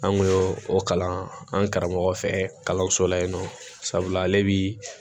An kun y'o o kalan an karamɔgɔ fɛ kalanso la yen nɔ sabula ale bi